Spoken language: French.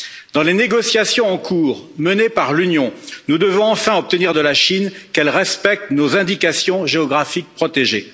Dans les négociations en cours menées par l'Union, nous devons enfin obtenir de la Chine qu'elle respecte nos indications géographiques protégées.